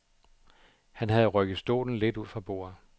Han havde rykket stolen lidt ud fra bordet.